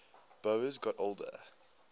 boas got older